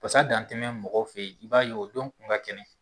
Pasa dantɛnɛ mɔgɔw fɛ ye i b'a ye o don kun ka di.